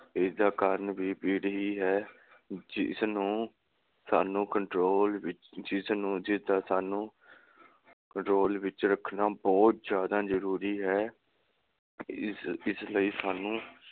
ਇਸਦਾ ਕਾਰਨ ਵੀ ਭੀੜ ਹੀ ਹੈ ਜਿਸਨੂੰ ਸਾਨੂੰ control ਵਿਚ ਜਿਸਨੂੰ ਜਿਸਦਾ ਸਾਨੂੰ control ਵਿਚ ਰੱਖਣਾ ਬਹੁਤ ਜਿਆਦਾ ਜਰੂਰੀ ਹੈ। ਇਸ ਇਸ ਲਈ ਸਾਨੂੰ